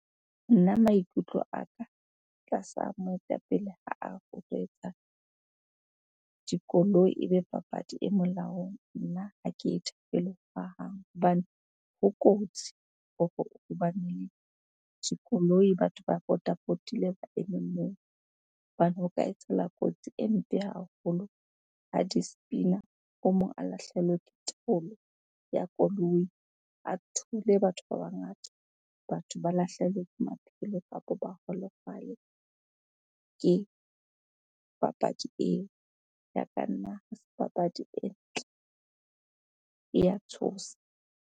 Nna maikutlo a ka tlasa moetapele ha a etsa dikoloi ebe papadi e molaong, nna ha ke e thabele hohang. Hobane ho kotsi hore ho bane le dikoloi, batho ba potapotile ba eme moo. Hobane ho ka etsahala kotsi e mpe haholo ha di spina, o mong a lahlehelwe ke taolo ya koloi, a thule batho ba bangata. Batho ba lahlehelwe ke maphelo kapa ba holofale ke papadi eo. Ya ka nna ha se papadi e ntle, ya tshosa.